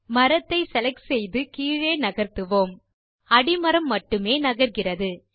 மரத்தை செலக்ட் செய்து கீழே நகர்த்துவோம் அடிமரம் மட்டுமே நகர்கிறது